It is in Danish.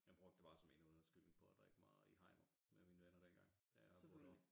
Jeg brugte det bare som endnu en undskyldning på at drikke mig i hegnet med mine venner dengang da jeg boede derovre